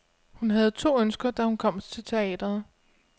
Hun havde to ønsker, da hun kom til teatret.